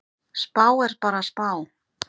Spá er bara spá.